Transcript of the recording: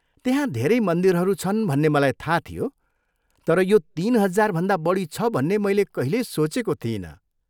त्यहाँ धेरै मन्दिरहरू छन् भन्ने मलाई थाह थियो तर यो तिन हजारभन्दा बढी छ भन्ने मैले कहिल्यै सोचेको थिइनँ।